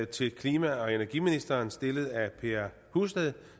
til klima og energiministeren stillet af herre per husted